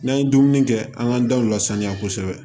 N'an ye dumuni kɛ an ka daw la sanuya kosɛbɛ